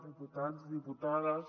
diputats diputades